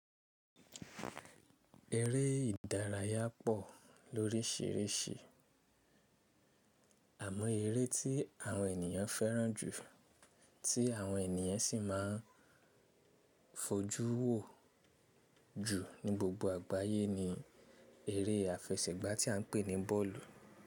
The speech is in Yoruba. Eré ìdárayá pọ̀ lóríṣìíríṣìí àmọ́ eré tí àwọn ènìyàn fẹ́ràn jù tí àwọn ènìyàn sì máa ń fojú wò jù ní gbogbo àgbáyé ni eré àfẹsẹ̀gbá tí à ń pè ní bọ́ọ̀lù.